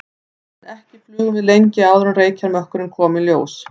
En ekki flugum við lengi áður en reykjarmökkurinn kom í ljós.